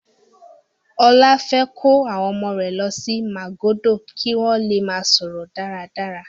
Ọlá fẹ́ kó àwọn ọmọ rẹ̀ lọ sí Màgódò kí wọ́n le máa sọ̀rọ̀ dáradára.